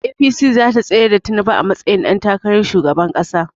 APC zata tsayar da tinubu a matsayin ɗan takarar shugaban ƙasa